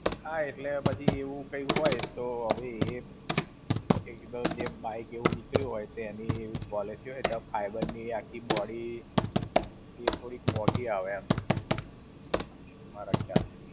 હા એટલે પછી, એવું કઈ હોય તો હવે એ. એક તો જે bike એવું નીકળ્યું હોય તેની policy હોય તેમાં fiber ની આખી body એ થોડીક મોંઘી આવે એમ, મારા ખ્યાલ થી.